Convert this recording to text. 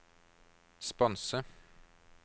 sponse